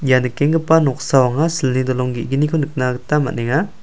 ia nikenggipa noksao anga silni dolong ge·gniko nina gita man·enga.